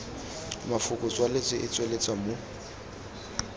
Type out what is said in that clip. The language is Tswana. mafoko tswaletswe e tsweletswa mo